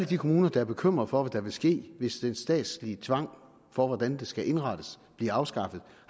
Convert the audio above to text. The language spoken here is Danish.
kommuner der er bekymret for hvad der vil ske hvis den statslige tvang for hvordan det skal indrettes bliver afskaffet